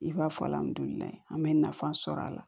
I b'a fɔ an bɛ nafa sɔrɔ a la